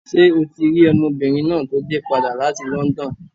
Ṣé o ti rí ọmọbìnrin náà tó dé padà láti London?